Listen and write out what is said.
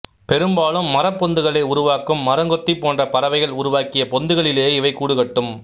பெரும்பாலும் மரப்பொந்துகளை உருவாக்கும் மரங்கொத்தி போன்ற பறவைகள் உருவாக்கிய பொந்துகளிலேயே இவை கூடுகட்டும்